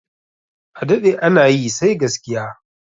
A daɗe ana yi sai gaskiya